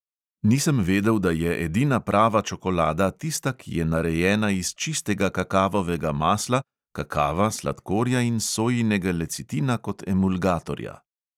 Nisem vedel, da je edina prava čokolada tista, ki je narejena iz čistega kakavovega masla, kakava, sladkorja in sojinega lecitina kot emulgatorja.